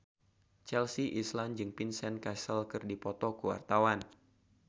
Chelsea Islan jeung Vincent Cassel keur dipoto ku wartawan